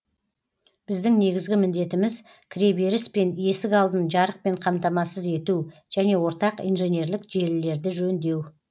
біздің негізгі міндетіміз кіреберіс пен есік алдын жарықпен қамтамасыз ету және ортақ инженерлік желілерді жөндеу